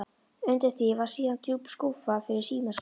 Undir því var síðan djúp skúffa fyrir símaskrána.